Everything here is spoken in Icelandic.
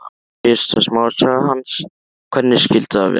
Fyrsta smásaga hans, Hvernig skyldi það vera?